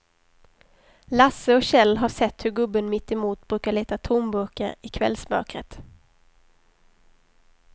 Lasse och Kjell har sett hur gubben mittemot brukar leta tomburkar i kvällsmörkret.